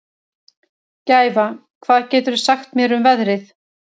Gæfa, hvað geturðu sagt mér um veðrið?